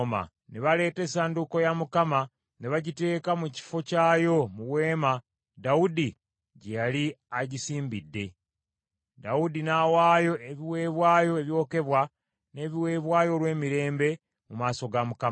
Ne baleeta essanduuko ya Mukama ne bagiteeka mu kifo kyayo mu weema Dawudi gye yali agisimbidde, Dawudi n’awaayo ebiweebwayo ebyokebwa, n’ebiweebwayo olw’emirembe, mu maaso ga Mukama .